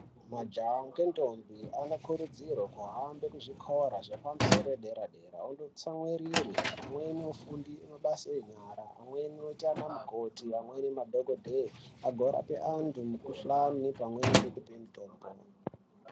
Majaha ngendombi anokurudzirwe kuhambe kuzvikora zvepamusoro yedera dera ondotsamwirire amweni ofunde mabasa enyara amweni ote ana mukoti amweni madhokodheye agorape antu mukuhlani pamweni ngekupe mutombo.